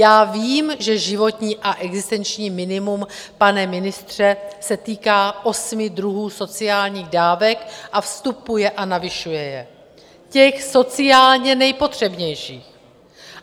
Já vím, že životní a existenční minimum, pane ministře, se týká osmi druhů sociálních dávek, a vstupuje a navyšuje je, těch sociálně nejpotřebnějších.